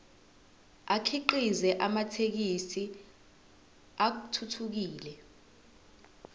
akhiqize amathekisthi athuthukile